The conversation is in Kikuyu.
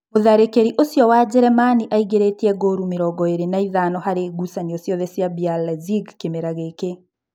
Mũtharĩkĩri ũcio wa Njeremani aingĩrĩtie ngũru mĩrongoĩrĩ na ithano harĩ ngucanio ciothe cia BR Lezige kĩmera gĩkĩ.